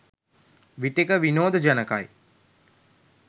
විටෙක විනෝද ජනකයි